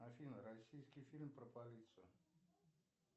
афина российский фильм про полицию